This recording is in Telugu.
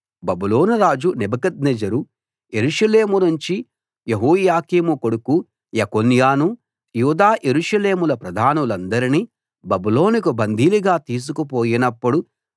బబులోను రాజు నెబుకద్నెజరు యెరూషలేములోనుంచి యెహోయాకీము కొడుకు యెకొన్యాను యూదా యెరూషలేముల ప్రధానులందరినీ బబులోనుకు బందీలుగా తీసుకుపోయినప్పుడు